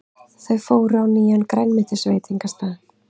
Þau fóru á nýjan grænmetisveitingastað.